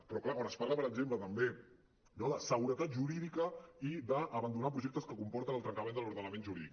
però clar quan es parla per exemple també no de seguretat jurídica i d’abandonar projectes que comporten el trencament de l’ordenament jurídic